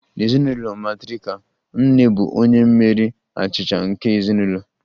N'ezinụlọ matrirkal, nne bụ onye mmeri achịcha nke ezinụlọ